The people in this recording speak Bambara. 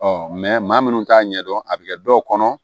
Ɔ maa minnu t'a ɲɛdɔn a bɛ kɛ dɔw kɔnɔ